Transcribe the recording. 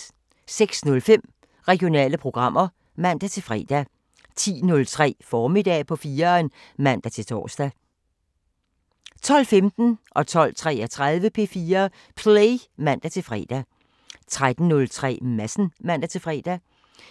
06:05: Regionale programmer (man-fre) 10:03: Formiddag på 4'eren (man-tor) 12:15: P4 Play (man-fre) 12:33: P4 Play (man-fre) 13:03: Madsen (man-fre)